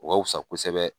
O ka wusa kosɛbɛ